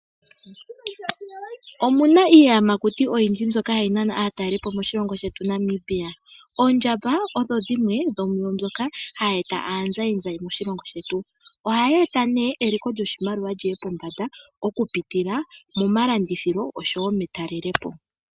Omuna iiyamakuti oyindji mbyoka hayi nana aatalelipo moshilongo shetu Namibia oondjamba odho dhimwe dhomwa mbyoka hayi eta aanzayi nzayi moshilongo shetu ohayi eta eliko lyoshimaliwa liye pombanda okupitila momalandithilo nometalelepo.